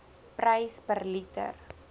prys per liter